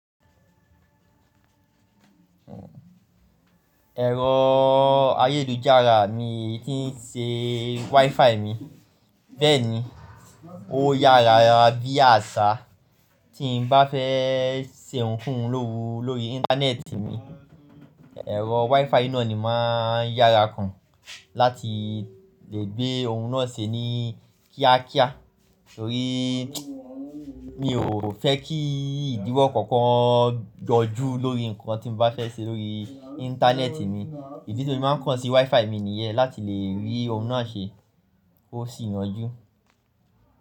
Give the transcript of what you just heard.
Ẹ̀rọ ayélujára mi tí ń ṣe WiFi mi. Bẹ́ẹ̀ni, ó yára bí àṣá. Tí n bá fẹ́ ṣe nǹkan lówó lórí Íńtánẹ́ẹ̀tì mi, ẹ̀rọ WiFi náà ni máa ń yára kan láti lè gbé ohun náà ṣe ní kíákíá. Nítorí mi ò fẹ́ kí ìdíwọ́ kankan yọjú lórí ǹkan tí n bá fẹ́ ṣe lórí Íńtánẹ́ẹ̀tì mi. Idí ti mo fi máa ń kọ́n sí WiFi mi nìyẹn láti lè rí ohun náà ṣe kosì yanjú.